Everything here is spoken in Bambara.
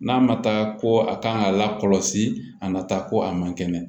N'a ma taa ko a kan ka lakɔlɔsi a nata ko a man kɛnɛ